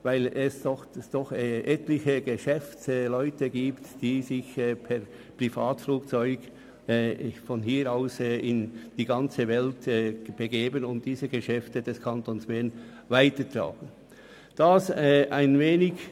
Dies, weil sich von Belp aus etliche Geschäftsleute in die gesamte Welt begeben und damit ihre Geschäfte von Bern aus weltweit ausdehnen.